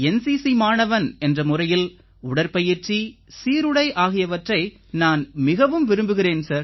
NCC மாணவன் என்ற முறையில் உடற்பயிற்சி சீருடை ஆகியவற்றை நான் மிகவும் விரும்புகிறேன்